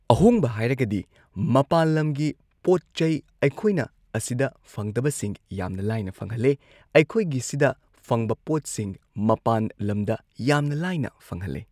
ꯑꯍꯣꯡꯕ ꯍꯥꯏꯔꯒꯗꯤ ꯃꯄꯥꯜ ꯂꯝꯒꯤ ꯄꯣꯠ ꯆꯩ ꯑꯩꯈꯣꯏꯅ ꯑꯁꯤꯗ ꯐꯪꯗꯕꯁꯤꯡ ꯌꯥꯝꯅ ꯂꯥꯏꯅ ꯐꯪꯍꯜꯂꯤ ꯑꯩꯈꯣꯏꯒꯤꯁꯤꯗ ꯐꯪꯕ ꯄꯣꯠꯁꯤꯡ ꯃꯄꯥꯟ ꯂꯝꯗ ꯌꯥꯝꯅ ꯂꯥꯏꯅ ꯐꯪꯍꯜꯂꯤ꯫